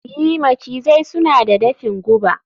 i, macizai suna da dafin guba